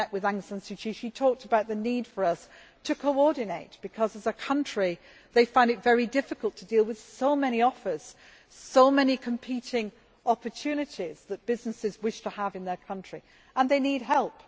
When I met with Aung San Suu Kyi, she talked about the need for us to coordinate because, as a country, they find it very difficult to deal with so many offers and with the many competing opportunities that businesses wish to have in their country, and they need help.